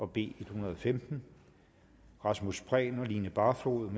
b en hundrede og femten rasmus prehn og line barfod